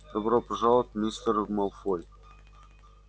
добро пожаловать мистер малфой